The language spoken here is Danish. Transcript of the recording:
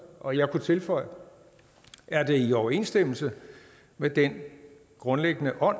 og jeg kunne tilføje er det i overensstemmelse med den grundlæggende ånd